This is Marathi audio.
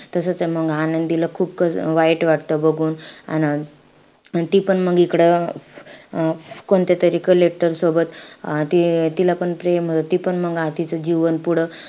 तसेचे मंग, आनंदीला खूप कस वाईट वाटतं बघून. अन ती पण मंग इकडं अं कोणत्यातरी collector सोबत अं ती तिलापण प्रेम होतं मंग तीचं जीवन पुढं,